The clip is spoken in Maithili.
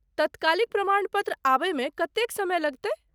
तत्कालिक प्रमाण पत्र आबयमे कतेक समय लगतै ?